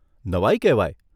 નવાઈ કહેવાય!